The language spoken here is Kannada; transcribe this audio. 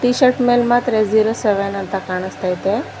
ಟೀಶರ್ಟ್ ಮೇಲೆ ಮಾತ್ರ ಜೀರೋ ಸೆವೆನ್ ಅಂತ ಕಾಣಿಸ್ತಾ